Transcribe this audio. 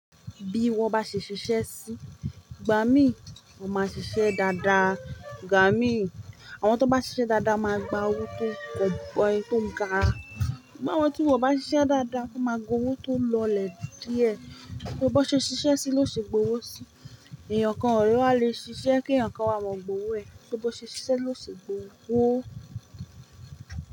Bí wọ́n bá ṣe ṣiṣẹ́ sí, igbà mí wọ́n máa ṣiṣẹ́ dáadáa, igbà mí àwọn tó bá ṣiṣẹ́ dáadáa máa gba owó tó gọ̀ boi, tó ga. Àwọn tí wọ́n o bá ṣiṣẹ́ dáadáa máa gba owó tó lọlẹ̀ díẹ̀. Bi ó ba ṣe ṣiṣẹ́ sí ló ṣe gbowó sí. Ẹ̀yàn kan ọ̀le wa le ṣiṣẹ́ kí ẹ̀yàn kan wa ma gbówó ẹ̀. Bi ó ṣe ṣiṣẹ́ ló ṣe gbowó.